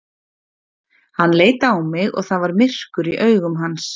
Hann leit á mig og það var myrkur í augum hans.